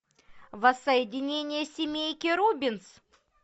воссоединение семейки рубинс